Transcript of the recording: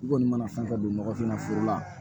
I kɔni mana fɛn fɛn don nɔgɔfin na foro la